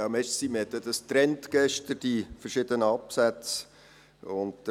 Man hat ja gestern die verschiedenen Absätze getrennt.